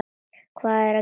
Hvað gerið þér?